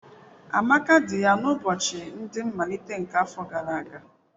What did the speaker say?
Amaka di ya n'ụbọchị ndị nmalite nke afọ gara aga.